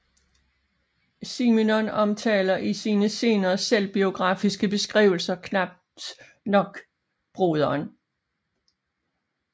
Simenon omtaler i sine senere selvbiografiske beskrivelser knap nok broderen